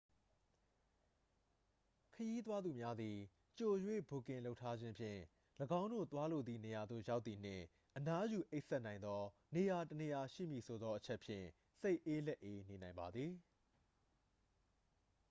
ခရီးသွားသူများသည် ကြို၍ဘွတ်ကင်လုပ်ထားခြင်းဖြင့် ၎င်းတို့သွားလိုသည့်နေရာသို့ရောက်သည်နှင့် အနားယူအိပ်စက်နိုင်သောနေရာတစ်နေရာရှိမည်ဆိုသော အချက်ဖြင့် စိတ်အေးလက်အေးနေနိုင်ပါသည်